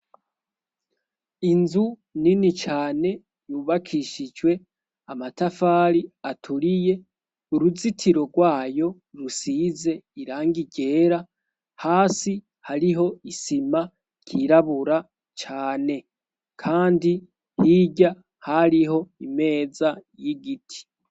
Inzu nini cane yubakishijwe amatafari aturiye uruzitiro rwayo rusize irangi ryera hasi hariho isima ryirabura cyane kandi hirya hariho imeza y'igiti.